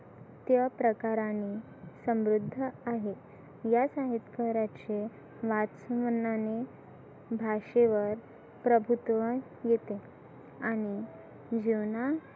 त्या प्रकाराने समृद्ध आहे या संगितकाराचे वाच मनाने भाषेवर प्रभुत्व येतं आणि जीवना